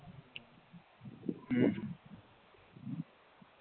હમ